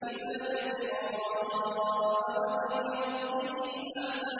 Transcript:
إِلَّا ابْتِغَاءَ وَجْهِ رَبِّهِ الْأَعْلَىٰ